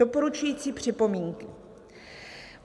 "Doporučující připomínky.